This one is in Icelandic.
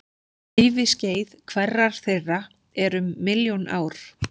Æviskeið hverrar þeirra er um milljón ár.